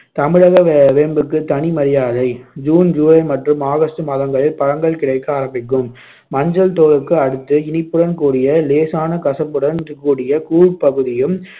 தமிழக வே~ வேம்புக்கு தனி மரியாதை ஜூன், ஜூலை மற்றும் ஆகஸ்டு மாதங்களில் பழங்கள் கிடைக்க ஆரம்பிக்கும் மஞ்சள் தோலுக்கு அடுத்து இனிப்புடன் கூடிய லேசான கசப்புடன் கூடிய கூழ் பகுதியும்